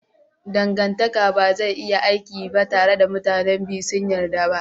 Dangantaka ba zai iya aiki ba tare da mutanen biyu sun yarda ba.